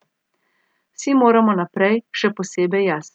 Vsi moramo naprej, še posebej jaz.